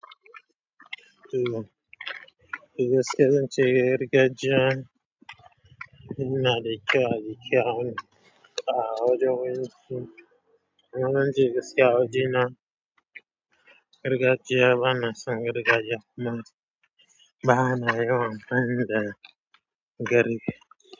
Eh gaskiya zance gargajiya, ina da kyau a jikya, awon ta hawa jiya wani su, wannan jigarsu ya waje nan. Rigar jiya bana son rigar jiya kuma, bana yawan bayyan da gari.